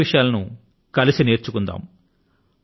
కొత్త విషయాల ను కలసి నేర్చుకుందాము